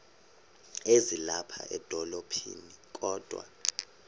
ezilapha edolophini kodwa